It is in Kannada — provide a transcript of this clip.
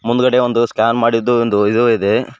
ಮುಂದ್ಗಡೆ ಒಂದು ಸ್ಕ್ಯಾನ್ ಮಾಡಿದ್ದು ಒಂದು ಇದು ಇದೆ.